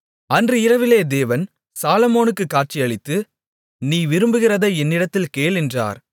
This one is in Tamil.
அன்று இரவிலே தேவன் சாலொமோனுக்குக் காட்சியளித்து நீ விரும்புகிறதை என்னிடத்தில் கேள் என்றார்